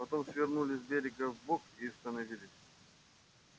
потом свернули с берега вбок и остановились